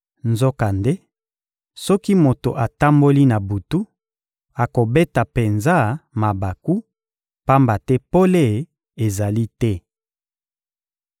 Nzokande, soki moto atamboli na butu, akobeta penza mabaku, pamba te pole ezali te.